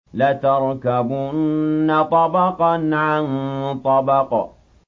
لَتَرْكَبُنَّ طَبَقًا عَن طَبَقٍ